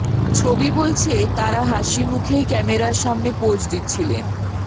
ছবি বলছে তাঁরা হাসি মুখেই ক্যামেরার সামনে পোজ দিচ্ছিলেন